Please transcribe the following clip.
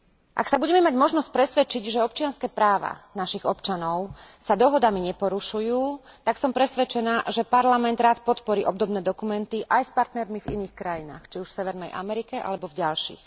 Ak sa budeme mať možnosť presvedčiť, že občianske práva našich občanov sa dohodami neporušujú, tak som presvedčená, že Parlament rád podporí obdobné dokumenty aj s partnermi v iných krajinách, či už v Severnej Amerike alebo v ďalších.